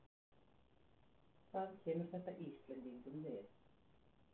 Hvað kemur þetta Íslendingum við?